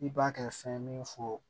I b'a kɛ fɛn ye min fɔ